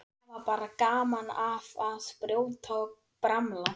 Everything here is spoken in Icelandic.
Hafa bara gaman af að brjóta og bramla.